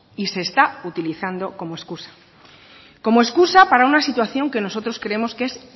y se está utilizando como excusa como excusa para una situación que nosotros creemos que es